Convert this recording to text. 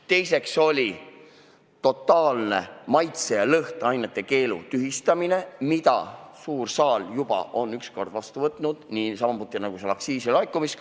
Teiseks, totaalse maitse- ja lõhnaainete keelu tühistamine, mille suur saal juba on üks kord vastu võtnud, pidades silmas aktsiisi laekumist.